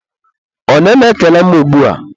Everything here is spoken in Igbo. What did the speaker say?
onye na-ekele m ugbua?